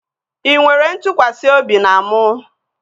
Ị nwere ntụkwasị obi na mụ?